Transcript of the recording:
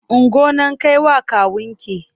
Ungo nan kai wa kawunki!